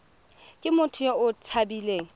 ke motho yo o tshabileng